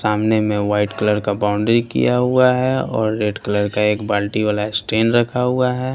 सामने में white colour का बाउंड्री किया हुआ हैऔर रेड कलर का एक बाल्टी वाला स्टेन रखा हुआ है।